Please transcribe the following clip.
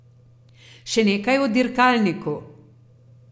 Še nekaj o dirkalniku.